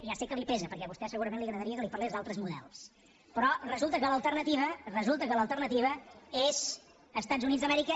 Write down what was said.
ja sé que li pesa perquè a vostè segurament li agradaria que li parlés d’altres models però resulta que l’alternativa resulta que l’alternativa són els estats units d’amèrica